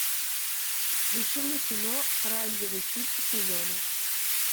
включи мне кино оранжевый хит сезона